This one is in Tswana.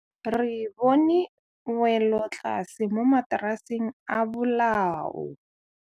Re bone wêlôtlasê mo mataraseng a bolaô.